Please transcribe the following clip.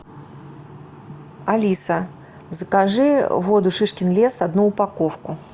алиса закажи воду шишкин лес одну упаковку